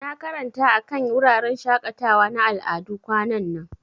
Na karanta akan wuraren shakatawa na al'adu kwanan nan.